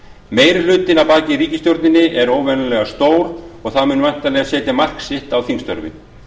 meiri hlutinn að baki ríkisstjórninni er óvenjulega stór og það mun væntanlega setja mark sitt á þingstörfin